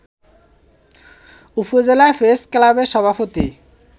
উপজেলা প্রেস ক্লাবের সভাপতি